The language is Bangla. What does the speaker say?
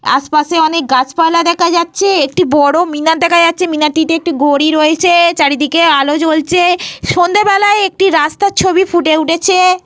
আশপাশে অনেক গাছপালা দেখা যাচ্ছে। একটি বড় মিনার দেখা যাচ্ছে। মিনারটিতে একটি ঘড়ি রয়েছে। চারিদিকে আলো জ্বলছে। সন্ধেবেলায় একটি রাস্তার ছবি ফুটে উঠেছে।